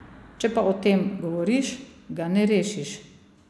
Če pa o tem govoriš, ga ne rešiš.